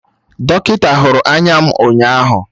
Dọkịta hụrụ anya m ụnyaahụ